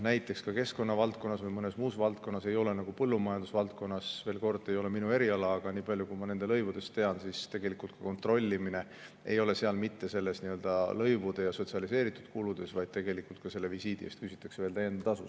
Keskkonna valdkonnas või mõnes muus valdkonnas ei ole nagu põllumajanduse valdkonnas – veel kord: see ei ole minu eriala, aga nii palju kui ma nende lõivudest tean, võin öelda –, kontrollimise puhul ei ole mitte ainult lõivud ja sotsialiseeritud kulud, vaid tegelikult küsitakse ka visiidi eest veel tasu.